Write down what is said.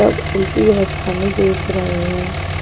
सब उल्टी अवस्था में देख रहे हैं।